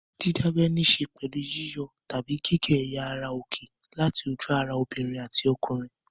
Dídábẹ níṣe pẹ̀lú yíyọ tàbí gígé ẹ̀yà ara òkè láti ojú-ara obìnrin àti ọkùnrin.